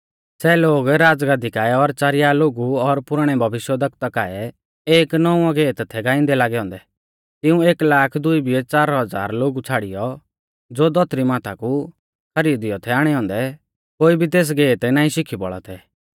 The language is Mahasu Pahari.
सै लोग राज़गाद्दी काऐ और च़ारिया लोगु और पुराणै भविष्यवक्ता काऐ एक नौंवौ गेत थै गाइंदै लागै औन्दै तिऊं एक लाख दुई बिऐ च़ार हज़ार लोगु छ़ाड़ियौ ज़ो धौतरी माथा कु खरीदियौ थै आणै औन्दै कोई भी तेस गेत नाईं शिखी बौल़ा थै